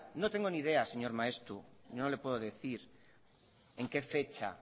no tengo ni idea señor maeztu no le puedo decir en qué fecha